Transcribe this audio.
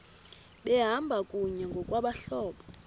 behamba kunye ngokwabahlobo